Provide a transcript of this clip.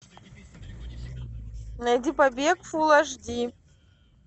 найди побег фул аш ди